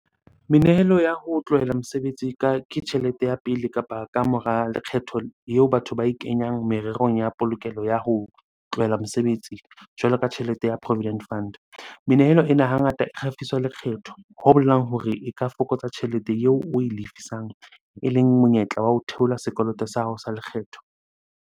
Menehelo ya ho tlohela mosebetsi ke tjhelete ya pele kapa ka mora lekgetho eo batho ba e kenyang mererong ya polokelo ya ho tlohela mosebetsi, jwalo ka tjhelete ya provident fund. Menehelo ena hangata e kgafiswa lekgetho, ho bolelang hore e ka fokotsa tjhelete eo oe lefisang. Eleng monyetla wa ho theola sekoloto sa hao sa lekgetho.